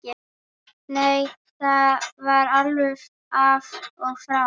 Nei, það var alveg af og frá.